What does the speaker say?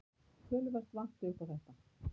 Töluvert vanti upp á þetta.